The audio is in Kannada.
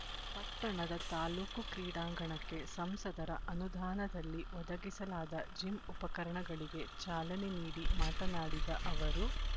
ಪಟ್ಟಣದ ತಾಲ್ಲೂಕು ಕ್ರೀಡಾಂಗಣಕ್ಕೆ ಸಂಸದರ ಅನುದಾನದಲ್ಲಿ ಒದಗಿಸಲಾದ ಜಿಮ್ ಉಪಕರಣಗಳಿಗೆ ಚಾಲನೆ ನೀಡಿ ಮಾತನಾಡಿದ ಅವರು